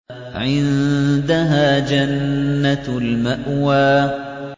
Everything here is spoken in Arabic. عِندَهَا جَنَّةُ الْمَأْوَىٰ